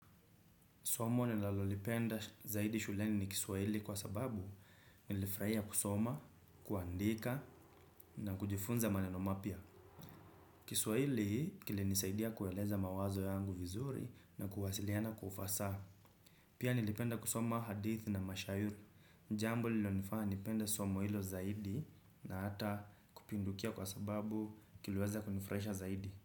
Somo nilalolipenda zaidi shuleni ni kiswahili kwa sababu nilifurahia kusoma, kuandika na kujifunza maneno ma pia. Kiswahili kili nisaidia kueleza mawazo yangu vizuri na kuwasiliana kwaufasaha. Pia nilipenda kusoma hadithi na mashairi. Jambo lilonifanya nipenda somo hilo zaidi na hata kupindukia kwa sababu kiliweza kunifurahisha zaidi.